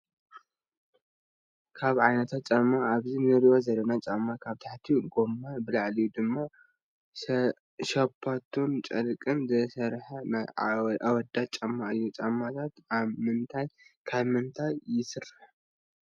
ካብ ዓይናት ጫማ ኣብዚ እንሪኦ ዘለና ጫማ ካብ ብታሕትኡ ገማን ብላዕሊ ድማ ሽፖንጅን ጨርቅን ዝተሰረሐ ናይ ኣወዳት ጫማ እዩ። ጫማታት ኣም ምንታ ካብ ምንታይ ይስርሑ?